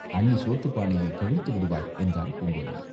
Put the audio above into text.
அண்ணி சோற்றுப் பானையைக் கவிழ்த்து விடுவாள்!" என்றாள் பூங்குழலி.